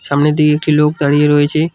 সামনের দিকে একটি লোক দাঁড়িয়ে রয়েছে।